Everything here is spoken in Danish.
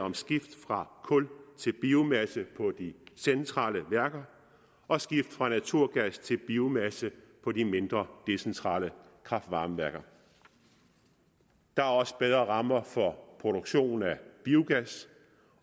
om skift fra kul til biomasse på de centrale værker og skift fra naturgas til biomasse på de mindre decentrale kraft varme værker der er også bedre rammer for produktion af biogas